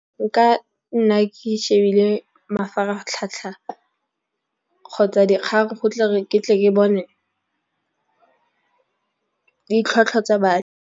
Nka nna ke shebile mafaratlhatlha, kgotsa dikgang ke tle ke bone ditlhwatlhwa tsa .